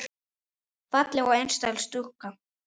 Falleg og einlæg stúlka.